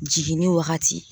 Jiginni wagati